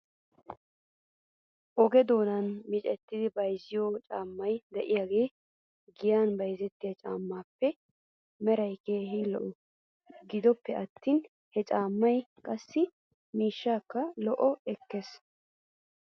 Oge doonan miccidi bayzziyoo caammay de'iyaagee giyan bayzettiyaa caamaappe meraa keehi lo'es. Gidoppe attin he caammay qassi miishshaakka loytti ekkes.